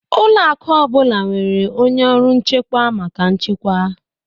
Ụlọ akụ ọ bụla nwere onye ọrụ nchekwa maka nchekwa